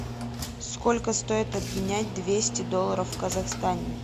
сколько стоит обменять двести долларов в казахстане